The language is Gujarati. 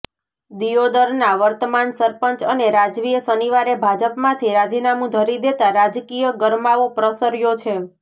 દિયોદરના વર્તમાન સરપંચ અને રાજવીએ શનિવારે ભાજપમાંથી રાજીનામું ધરી દેતાં રાજકીય ગરમાવો પ્રસર્યો છે